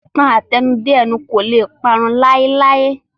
Ìtàn àtẹnudẹ́nu kò lè parun láéláé